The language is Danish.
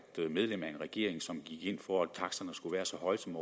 medlem af en regering som gik ind for at taksterne skulle være så høje som